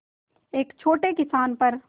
एक छोटे किसान पर